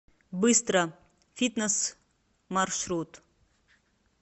быстро фитнес маршрут